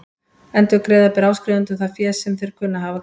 Endurgreiða ber áskrifendum það fé sem þeir kunna að hafa greitt.